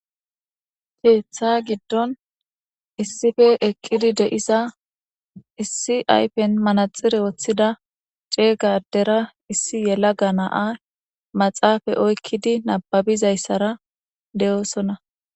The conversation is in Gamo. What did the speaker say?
keeththa giddon issife eqqidi deisa issi aypen manaxire woththida ceegadera issi yela ganaa maxaafa oykkidi nababizayssara de7oosonna